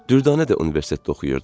Dürdanə də universitetdə oxuyurdu.